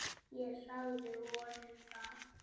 Ég sagði honum það.